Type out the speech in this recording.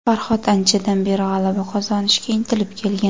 Farhod anchadan beri g‘alaba qozonishga intilib kelgan.